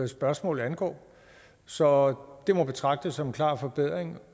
spørgsmål angår så det må betragtes som en klar forbedring